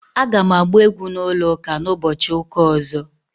Aga m agba egwu na ụlọ ụka na- ụbọchị ụka ọzo